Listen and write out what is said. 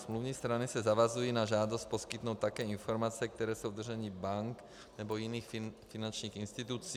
Smluvní strany se zavazují na žádost poskytnout také informace, které jsou v držení bank nebo jiných finančních institucí.